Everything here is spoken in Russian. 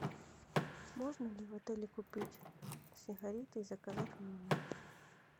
можно ли в отеле купить сигареты и заказать в номер